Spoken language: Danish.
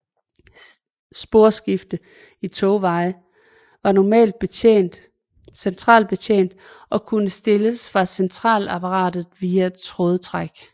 Sporskifter i togveje var normalt centralbetjent og kunne stilles fra centralapparatet via trådtræk